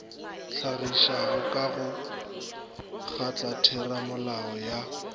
hlagišwago ka go kgotlatheramolao ya